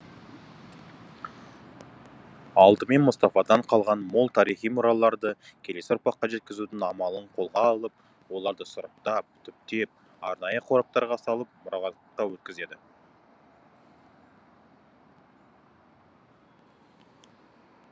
алдымен мұстафадан қалған мол тарихи мұраларды келесі ұрпаққа жеткізудің амалын қолға алып оларды сұрыптап түптеп арнайы қораптарға салып мұрағатқа өткізеді